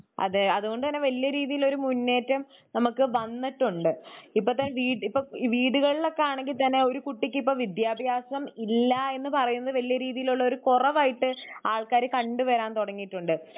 അതെ അതുകൊണ്ടു തന്നെ വലിയരീതിയിലുള്ള മുന്നേറ്റം നമുക്ക് വന്നിട്ടുണ്ട്. ഇപ്പത്തെ വീടുകളിലാണെങ്കിൽ തന്നെ ഒരു കുട്ടിക്കിപ്പം വിദ്ത്യഭ്യാസം ഇല്ലായെന്ന് പറയുന്നത് വല്യ രീതിയിലുള്ളൊരു കുറവായിട്ട് ആൾക്കാരെ കണ്ടു വരൻ തുടങ്ങീട്ടുണ്ട്